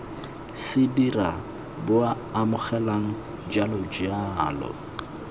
se dira bua amogela jalojalo